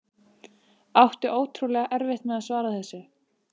Átti ótrúlega erfitt með að svara þessu.